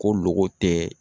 Ko loko tɛ